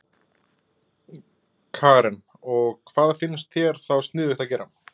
Karen: Og hvað finnst þér þá sniðugt að gera?